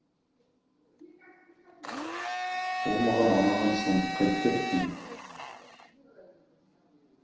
ол маған ұнаған соң қайтпекпін